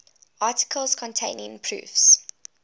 articles containing proofs